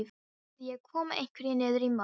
Þá verð ég að koma einhverju niður í mold.